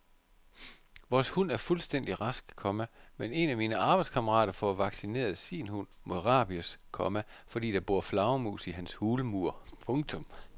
Vores hund er fuldstændig rask, komma men en af mine arbejdskammerater får vaccineret sin hund mod rabies, komma fordi der bor flagermus i hans hulmur. punktum